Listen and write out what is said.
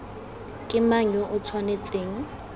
ke mang yo o tshwanetseng